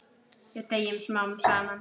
Við deyjum smám saman.